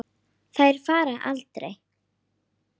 Á miðjum katli jafnan sú.